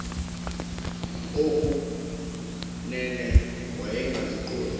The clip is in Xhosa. oku nene wayengaziqondi